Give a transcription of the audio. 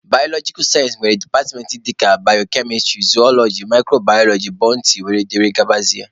Baalojikal sayensị nwere departmentị dịka bayokemistrị, zooloji, mikrobaaloji, botany wdg